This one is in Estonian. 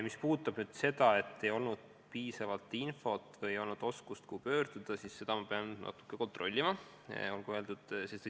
Mis puudutab seda, et ei olnud piisavalt infot või ei teatud, kuhu pöörduda, siis seda ma pean natuke kontrollima.